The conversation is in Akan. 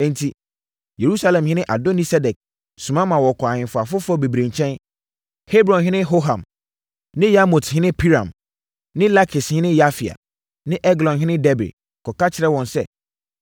Enti, Yerusalemhene Adoni-Sedek soma ma wɔkɔɔ ahemfo afoforɔ bebree nkyɛn: Hebronhene Hoham ne Yarmuthene Piram ne Lakishene Yafia ne Eglonhene Debir kɔka kyerɛɛ wɔn sɛ,